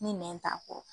Ni nɛn t'a kɔrɔ